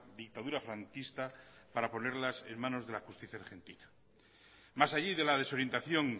dictadura franquista para ponerlas en manos de la justicia argentina mas allí de la desorientación